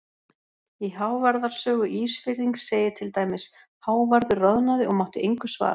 Í Hávarðar sögu Ísfirðings segir til dæmis: Hávarður roðnaði og mátti engu svara.